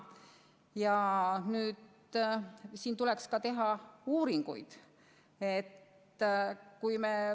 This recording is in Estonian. Ja selle kohta tuleks ka teha uuringuid.